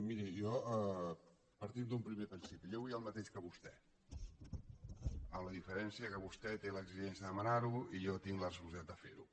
miri partim d’un primer principi jo vull el mateix que vostè amb la diferència que vostè té l’exigència de demanar ho i jo tinc la responsabilitat de fer ho